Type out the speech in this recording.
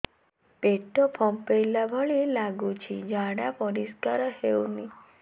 ପେଟ ଫମ୍ପେଇଲା ଭଳି ଲାଗୁଛି ଝାଡା ପରିସ୍କାର ହେଉନି